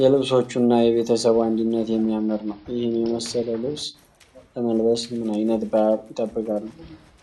የልብሶቹ እና የቤተሰቡ አንድነት የሚያምር ነው። ይህን የመሰለ ልብስ ለመልበስ ምን ዓይነት በዓል ይጠብቃሉ?